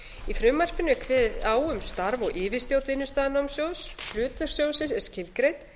í frumvarpinu er kveðið á um starf og yfirstjórn vinnustaðanámssjóðs hlutverk sjóðsins er skilgreint